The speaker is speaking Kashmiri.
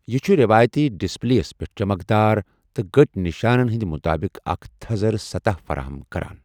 یِہ چُھ روایتی ڈسپلے یس پیٹھ چمکدار تہٕ گٕٹۍ نشانن ہٕندۍ مطٲبق اکھ تھزرٕ سطح فراہم کران ۔